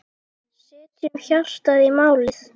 Setjum hjartað í málið.